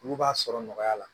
Olu b'a sɔrɔ nɔgɔya la